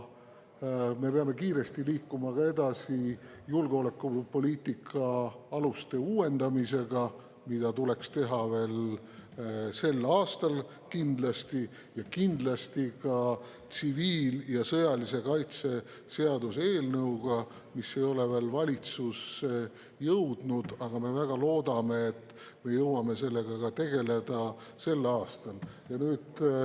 Me peame kiiresti edasi liikuma ka julgeolekupoliitika aluste uuendamisega, mida tuleks teha kindlasti veel sel aastal, ning ka tsiviil‑ ja sõjalise kaitse seaduse eelnõuga, mis ei ole veel valitsusse jõudnud, aga me väga loodame, et me jõuame sellega tegeleda veel sel aastal.